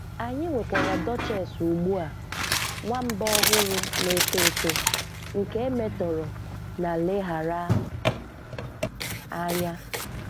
Anyị nwekwara Dutchess ugbu a, nwamba ọhụrụ na-eto eto nke e metọrọ na leghaara anya.